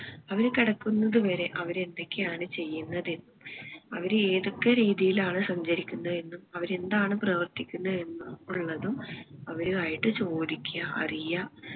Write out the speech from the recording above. അവര് കിടക്കുന്നത് വരെ അവര് എന്തൊക്കെ ആണ് ചെയ്യുന്നത് എന്നും അവര് ഏതൊക്കെ രീതിയിലാണ് സഞ്ചരിക്കുന്നത് എന്നും അവര് എന്താണ് പ്രവർത്തിക്കുന്നത് എന്നും ഉള്ളതും അവരുമായിട്ട് ചോദിക്ക്യാ അറിയാ